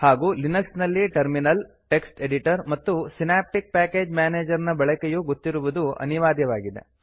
ಹಾಗೂ ಲಿನಕ್ಸ್ ನಲ್ಲಿ terminal text editor ಮತ್ತು ಸಿನಾಪ್ಟಿಕ್ ಪ್ಯಾಕೇಜ್ ಮ್ಯಾನೇಜರ್ ನ ಬಳಕೆಯೂ ಗೊತ್ತಿರುವುದು ಅನಿವಾರ್ಯವಾಗಿದೆ